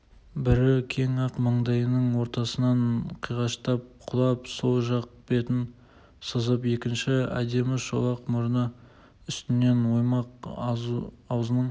бірі кең ақ маңдайының ортасынан қиғаштап құлап сол жақ бетін сызып екіншісі әдемі шолақ мұрны үстінен оймақ аузының